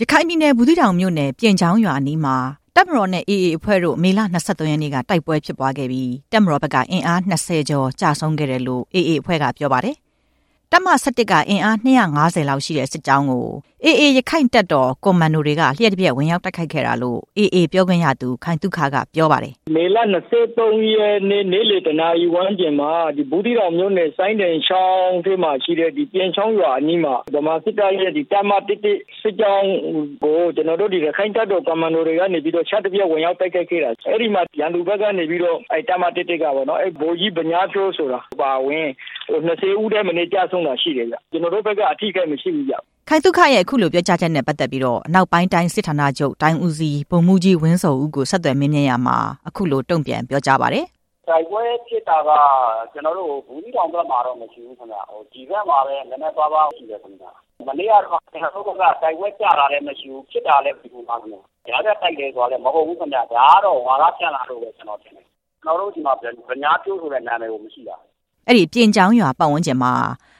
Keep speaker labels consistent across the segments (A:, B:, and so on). A: ရခိုင်ပြည်နယ် ဘူးသီးတောင်မြို့နယ် ပြင်ချောင်းရွာအနီးမှာ တပ်မတော်နဲ့ AA အဖွဲ့တို့ မေလ ၂၃ ရက်နေ့က တိုက်ပွဲဖြစ်ပွားခဲ့ပြီး တပ်မတော်ဘက်က အင်အား ၂၀ ကျော် ကျဆုံးခဲ့တယ်လို့ AA အဖွဲ့က ပြောပါတယ်။ တပ်မ ၁၁ က အင်အား ၂၅၀ လောက်ရှိတဲ့စစ်ကြောင်းကို AA ရခိုင့်တပ်တော်ကွန်မန်ဒိုတွေက လျှပ်တပျက် ဝင်ရောက်တိုက်ခိုက်ခဲ့တာလို့ AA ပြောခွင့်ရသူ ခိုင်သုခ က ပြောပါတယ်
B: ။ "မေလ ၂၃ ရက်နေ့ နေ့လည် ၁ နာရီဝန်းကျင်မှာ ဘူးသီးတောင်မြို့နယ်၊ စိုင်းတိုင်ချောင်း ဘေးမှာရှိတဲ့ ပြင်ချောင်းရွာအနီးမှာ ဗမာစစ်တပ်ရဲ့ အင်အား ၂၅၀ လောက်ရှိတဲ့ တပ်မ ၁၁ စစ်ကြောင်းကို ရခိုင့်တပ်တော် ကွန်မန်ဒိုတွေက လျှပ်တပျက်ဝင်ရောက်တိုက်ခိုက်ခဲ့တာ။ အဲဒီမှာ ရန်သူဘက်က အဲဒီတပ်မ ၁၁ ကပေါ့နော်၊ ဗိုလ်ကြီး ဗညားထွန်း ဆိုတာ အပါအဝင် ၂၀ ဦးထက်မနည်း ကျဆုံးတာရှိတယ်ဗျ။ ကျနော်တို့ဘက်က ကျဆုံးတာ မရှိဘူး"
A: ခိုင်သုခရဲ့ အခုလို ပြောကြားချက်နဲ့ပတ်သက်ပြီး အနောက်ပိုင်းတိုင်းစစ်ဌာနချုပ် တိုင်းဦးစီး ဗိုလ်မှူးကြီး ဝင်းဇော်ဦးကို ဆက်သွယ်မေးမြန်းရာမှာ အခုလို တုံ့ပြန်ပြောကြားပါတယ်။
C: "တိုက်ပွဲဖြစ်တာက ဘူးသီးတောင်ဘက်မှာတော့ မရှိဘူး၊ ဒီဘက်မှာပဲ နည်းနည်းပါးပါးရှိတယ်ခင်ဗျ။ မနေ့ကတုန်းက ကျနော်တို့ဘက်က တိုက်ပွဲကျတာလည်း မရှိဘူး၊ ဖြစ်တာလည်း မရှိဘူး။ ကြားဖြတ်တိုက်တယ်ဆိုတာလည်း မဟုတ်ဘူး။ ဒါကတော့ ဝါဒဖြန့်တယ်လို့ပဲ ကျနော်ထင်တယ်။ ကျနော်တို့ဆီမှာ ဗညားဖြိုး ဆိုတဲ့နာမည်ကို မရှိတာ
A: " အဲဒီ ပြင်ချောင်းရွာပတ်ဝန်းကျင်မှာ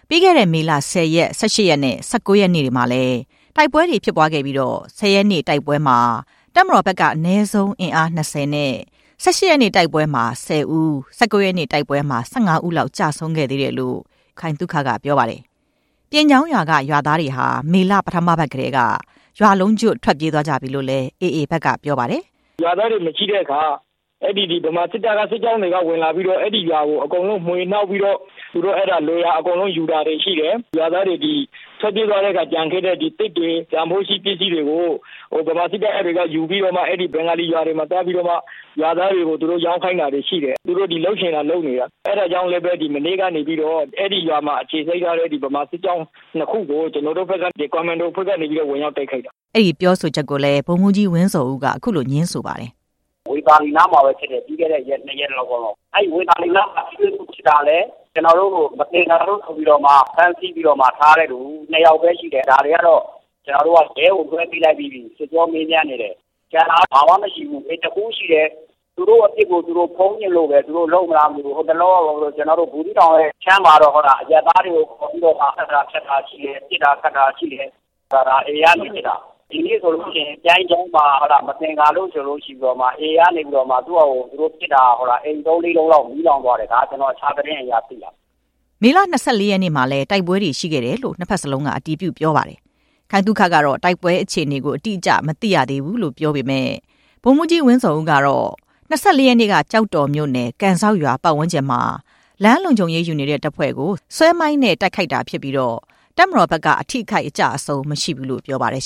A: ပြီးခဲ့တဲ့ မေလ ၁၀ ရက်၊ ၁၈ ရက်နေ့နဲ့ ၁၉ ရက်နေ့တွေမှာလည်း တိုက်ပွဲတွေဖြစ်ပွားခဲ့ပြီး ၁၀ ရက်နေ့တိုက်ပွဲအတွင်း တပ်မတော်ဘက်က အနည်းဆုံး အင်အား ၂၀ နဲ့ ၁၈ နေ့တိုက်ပွဲအတွင်း ၁၀ ဦးနဲ့ ၁၉ ရက်နေ့တိုက်ပွဲမှာ ၁၅ ဦးလောက် ကျဆုံးခဲ့သေးတယ်လို့ AA ပြောခွင့်ရသူ ခိုင်သုခ က ပြောပါတယ်။ ပြင်ချောင်းရွာက ရွာသားတွေဟာ မေလပထမပတ်ကတည်းက ရွာလုံးကျွတ်ထွက်ပြေးသွားကြပြီလို့လည်း AA ဘက်က ပြောပါတယ်
B: ။ "ရွာသားတွေ မရှိတော့တဲ့အခါ ဗမာစစ်တပ်ကဝင်လာပြီးတော့ အဲဒီရွာကိုမွှေနှောက်ပြီးတော့ သူတို့လိုရာယူတာတွေရှိတယ်။ ရွာသားတွေ ထွက်ပြေးသွားတဲ့အခါ ကျန်ခဲ့တဲ့ သစ်တွေ၊ တန်ဖိုးရှိပစ္စည်းတွေကို ဗမာစစ်တပ်က ယူပြီးတော့ ဘင်္ဂ ါလီရွာတွေမှာသွားပြီးတော့မှ ရွာသားတွေကို သွားရောင်းခိုင်းတာတွေရှိတယ်။ သူတို့လုပ်ချင်တာ လုပ်နေတာ။ အဲဒါကြောင့်လည်းပဲ မနေ့ကနေပြီးတော့ အဲဒီရွာမှ အခြေစိုက်ထားတဲ့ ဗမာစစ်ကြောင်းနှစ်ခုကို ကျနော်တို့ဘက်က ကွန်မန်ဒိုအဖွဲ့က ဝင်ရောက်တိုက်ခိုက်တာ
A: " အဲဒီပြောဆိုချက်ကိုလည်း ဗိုလ်မှူးကြီး ဝင်းဇော်ဦးက ငြင်းဆိုပါတယ်။ "
B: ဝေသာလီနားမှာပဲဖြစ်တယ်။ ပ
C: ြီးခဲ့တဲ့ ၂ ရက်လောက်က။ အဲဒီဝေသာလီနားမှာ ထိတွေ့မှုဖြစ်တာလည်း ကျနော်တို့ မသင်္ကာလို့ဆိုပြီးတော့ ဖမ်းဆီးထားတဲ့သူ ၂ ယောက်ပဲရှိတယ်။ ဒါတွေကတော့ ရဲကိုလွှဲပေးလိုက်ပြီ။ စစ်ကြောမေးမြန်းနေတယ်။ ကျန်တာက ဘာမှမရှိဘူး။ ဒါပေမဲ့ တစ်ခုရှိတယ်။ သူတို့အပြစ်ကို သူတို့ဖုံးချင်လို့ပဲ လုပ်သလားမသိဘူး။ ဟိုတလောက ဘူးသီးတောင်ဘက်အခြမ်းမှာတော့ အရပ်သားတွေကိုခေါ်ပြီးတော့ သတ်တာဖြတ်တာရှိတယ်၊ ပစ်တာခတ်တာရှိတယ်။ ဒါ AA ကနေပစ်တာ။ ဒီနေ့ဆိုရင် ပြိုင်းချောင်းမှာ မသင်္ကာလို့ဆိုပြီး AA ကနေပစ်တာ အိမ် သုံးလေးလုံးလောက် မီးလောင်သွားတယ်။ ဒါ ကျနော် တခြားသတင်းအရ သိတာ
A: " မေလ ၂၄ ရက်နေ့မှာလည်း တိုက်ပွဲတွေရှိခဲ့တယ်လို့ နှစ်ဘက်စလုံးက အတည်ပြုပြောပါတယ်။ ခိုင်သုခကတော့ တိုက်ပွဲအခြေအနေ အတိအကျကို မသိရသေးဘူးလို့ ဆိုပါတယ်။ ဗိုလ်မှူးကြီး ဝင်းဇော်ဦးကတော့ ၂၄ ရက်နေ့ကဖြစ်ခဲ့တဲ့ တိုက်ပွဲနဲ့ပတ်သက်ပြီး ကျောက်တော်မြို့နယ် ကန်စောက်ရွာဝန်းကျင်မှာ လမ်းလုံခြုံရေး ယူနေတဲ့တပ်ဖွ့ဲကို ဆွဲမိုင်းနဲ့တိုက်ခိုက်တာဖြစ်ပြီး တပ်မတော်ဘက်က အထိအခိုက် အကျအဆုံးမရှိဘူးလို့ ပြောပါတယ်